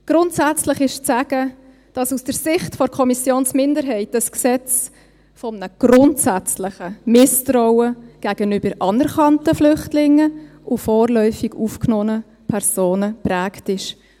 Grundsätzlich ist zu sagen, dass aus Sicht der Kommissionsminderheit dieses Gesetz von einem grundsätzlichen Misstrauen gegenüber anerkannten Flüchtlingen und vorläufig aufgenommenen Personen geprägt ist.